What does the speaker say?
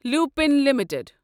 Lupin limited